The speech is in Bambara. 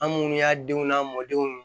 An munnu y'a denw n'a mɔdenw